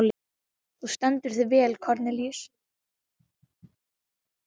Þú stendur þig vel, Kornelíus!